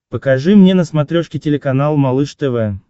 покажи мне на смотрешке телеканал малыш тв